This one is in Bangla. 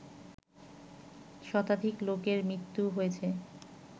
শতাধিক লোকের মৃত্যু হয়েছে